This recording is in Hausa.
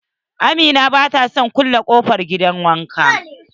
Amina bata son kulle kofar gidan wanka.